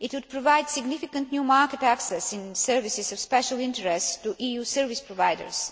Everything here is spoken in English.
it would provide significant new market access in services of special interest to EU service providers